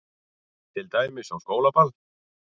Til dæmis á skólaball.